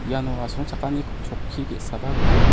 iano asongchakani ku-chokki ge·saba gnang.